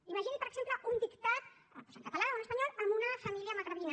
imagini per exemple un dictat doncs en català o en espanyol en una família magrebina